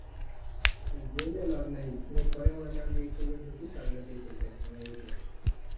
বলে লাব নেই net করে মানে বেশি youtube এ ঢুকি সারা রাত Youtube দেখ্পনি এঐতো